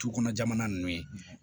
Tu kɔnɔ jamana nunnu ye